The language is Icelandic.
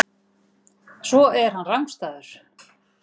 Svo er hann rangstæður.